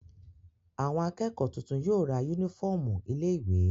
Àwọn akẹ́kọ̀ọ́ tuntun yóò ra únífọ́ọ́mù ilé-ìwé.